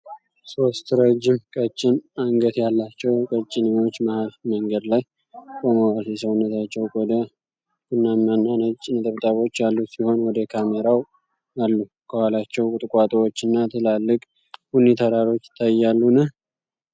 ሶስት ረጅም ቀጭን አንገት ያላቸው ቀጭኔዎች መሀል መንገድ ላይ ቆመዋል። የሰውነታቸው ቆዳ ቡናማና ነጭ ነጠብጣቦች ያሉት ሲሆን፣ ወደ ካሜራው አሉ። ከኋላቸው ቁጥቋጦዎች እና ትላልቅ ቡኒ ተራሮች ይታያሉን?